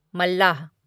मल्लाह